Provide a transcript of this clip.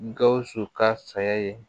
Gawusu ka saya ye